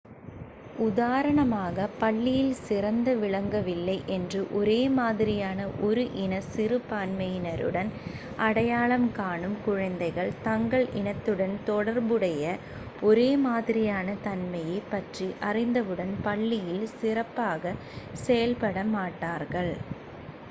உதாரணமாக பள்ளியில் சிறந்து விளங்கவில்லை என்று ஒரே மாதிரியான ஒரு இன சிறுபான்மையினருடன் அடையாளம் காணும் குழந்தைகள் தங்கள் இனத்துடன் தொடர்புடைய ஒரே மாதிரியான தன்மையைப் பற்றி அறிந்தவுடன் பள்ளியில் சிறப்பாகச் செயல்பட மாட்டார்கள்